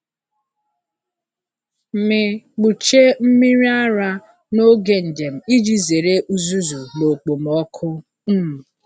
M kpuchie mmiri ara n’oge njem iji zere uzuzu na okpomọkụ. um